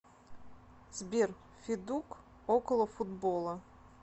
сбер федук околофутбола